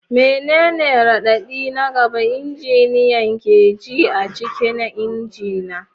Menene raɗaɗi na gaba injiniyan ke ji a cikin injina?